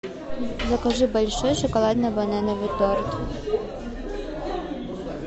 закажи большой шоколадно банановый торт